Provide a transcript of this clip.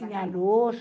Tinha luz.